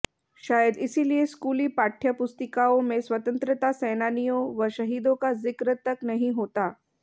शायद इसलिए स्कूली पाठ्य पुस्तिकाओं में स्वतंत्रता सेनानियों व शहीदों का जिक्र तक नहीं होता